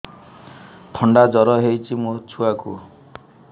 ଥଣ୍ଡା ଜର ହେଇଚି ମୋ ଛୁଆକୁ